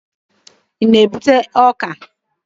Ị na-egbute ọka?